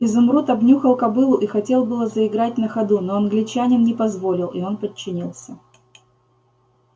изумруд обнюхал кобылу и хотел было заиграть на ходу но англичанин не позволил и он подчинился